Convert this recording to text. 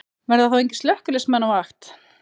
Verða þá engir slökkviliðsmenn á vakt?